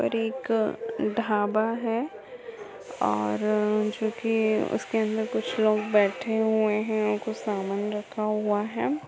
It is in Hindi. और एक ढाबा है और जो की उसके अंदर कुछ लोग बैठे हुए हैं कुछ सामान रखा हुआ है।